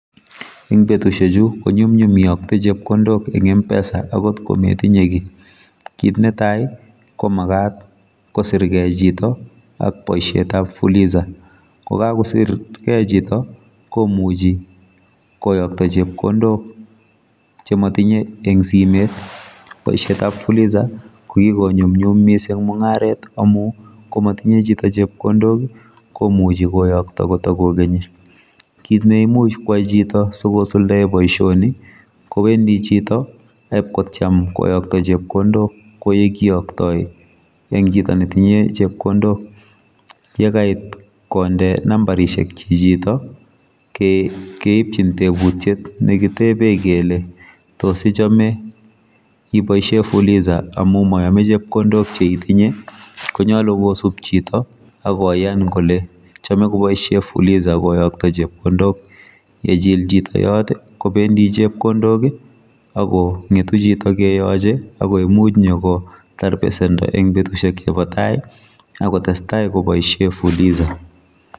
Eng betusiek chuu ko nyumnyum iyaktei pesa en mpesa akoot ko metinyei kiy ,kit netai ko magaat kosirgei chitoo ak boisiet ab fuliza ye kagosirgri chitoo komuchi koyakta chepkondook che matinyei en simeet boisiet ab fuliza ko kikonyunyum missing mungaret amuun ko matinyei chito chepkondook komuchei koyaktaa ko takokenii kiit neimuuch chitoo takwai boisioni kowendii chitoo IP kotyeem koyaktoi chepkondook kowaa ole koyaktaa eng chitoo ne tinyei chepkondook, yakait kondee nambarisheek chito keipchiin tebutiet kele tos ichame ibaisheen fuliza amuun mayamei chepkondook che itinyei, ko nyaluu kisuup chitoo agoyaan kole kobaisheen fuliza koyaktoi chepkondook yechill chitoo yoot kobendii chepkondook I ko ngetuu chito keyachei agoi muuch nyor kotaar besendo akotestai kobaisheen fuliza.